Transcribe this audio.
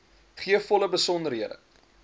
gee volle besonderhede